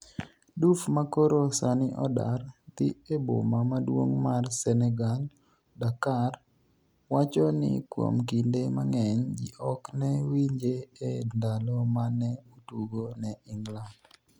Diouf ma koro sani odar dhi e boma maduong' mar Senegal Dakar, wacho ni kuom kinde mang'eny ji ok ne winje e ndalo ma ne otugo ne England